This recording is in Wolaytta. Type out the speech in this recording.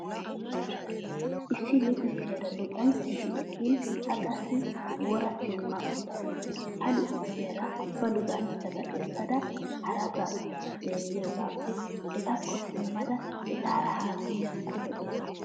Issi luxissiyaara luxanchchati eqqin A qassi wora simma uttaasu. Ha luxissiyaara ba luxanchchata essada harassas xeelliyoogaappe etakko simmada etaara haasayiyaakko lo'ees.